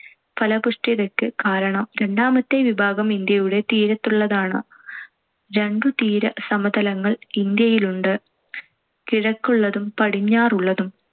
ഫലഭൂയിഷ്ടതക്ക് കാരണം. രണ്ടാമത്തെ വിഭാഗം ഇന്ത്യയുടെ തീരത്തുള്ളതാണ്. രണ്ടു തീരസമതലങ്ങൾ ഇന്ത്യയിലുണ്ട്. കിഴക്കുള്ളതും പടിഞ്ഞാറുള്ളതും.